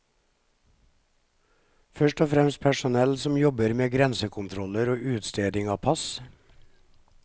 Først og fremst personell som jobber med grensekontroller og utsteding av pass.